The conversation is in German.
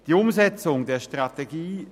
Die Umsetzung der Strategie